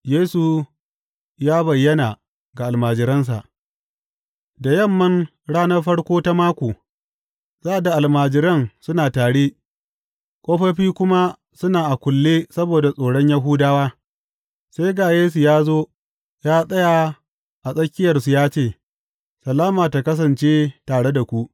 Yesu ya bayyana ga almajiransa Da Yamman ranar farko ta mako, sa’ad da almajiran suna tare, ƙofofi kuma suna a kulle saboda tsoron Yahudawa, sai ga Yesu ya zo ya tsaya a tsakiyarsu ya ce, Salama tă kasance tare da ku!